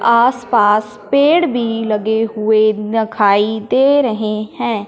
आसपास पेड़ भी लगे हुए दखाई दे रहे हैं।